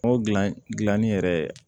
N'o dilan gilanni yɛrɛ